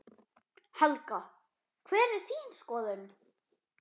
Helga: Hver er þín skoðun?